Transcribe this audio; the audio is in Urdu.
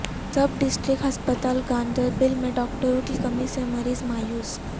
سب ڈسٹرکٹ ہسپتال گاندربل میں ڈاکٹروں کی کمی سے مریض مایوس